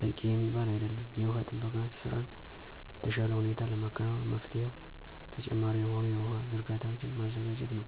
በቂ የሚባል አይደለም። የውሃ ጥበቃ ስራን በተሻለ ሁኔታ ለማከናወን መፍትሄው ተጨማሪ የሆኑ የውሃ ዝርጋታዎችን ማዘጋጀት ነው።